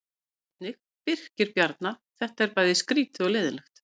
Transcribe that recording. Sjá einnig: Birkir Bjarna: Þetta er bæði skrýtið og leiðinlegt